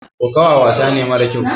kokowa wasane mara kyau